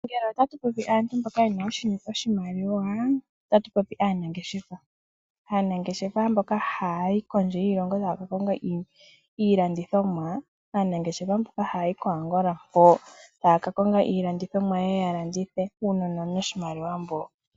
Ngele otatu popi aantu mboka yena oshimaliwa otatu popi aanangeshefa. Aanangeshefa mboka hayayi kondje yiilongo taya ka konga iilandithomwa . Aanangeshefa mboka hayayi ko Angola taya ka konga iilandithomwa yeye ya landithe. Uunona owuna oshimaliwa mboka